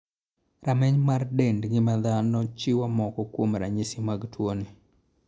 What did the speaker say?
Rameny mar dend ng'ima dhano chiwo moko kuom ranyisi mag tuo ni.